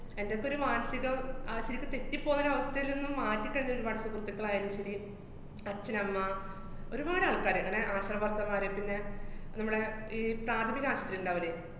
എന്‍റെയൊക്കെയൊരു മാനസികം തെറ്റിപ്പോകാനും അവസ്ഥേലൊന്ന് മാറ്റിത്തന്നിന് whatsapp സുഹൃത്തുക്കളായാലും ശരി, അച്ഛനമ്മ, ഒരുപാട് ആള്‍ക്കാര് അങ്ങനെ ആശാ worker മാര്, പിന്നെ നമ്മടെ ഈ പ്രാഥമിക ആശൂത്രിയിണ്ടാവില്ലേ,